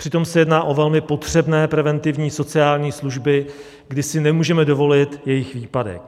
Přitom se jedná o velmi potřebné preventivní sociální služby, kdy si nemůžeme dovolit jejich výpadek.